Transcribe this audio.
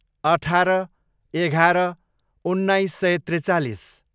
अठार, एघार, उन्नाइस सय त्रिचालिस